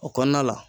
O kɔnɔna la